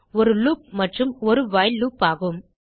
ஒரு லூப் மற்றும் அது வைல் லூப் ஆகும்